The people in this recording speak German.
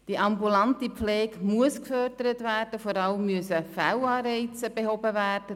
Die ambulante Pflege muss gefördert und Fehlanreize müssen behoben werden.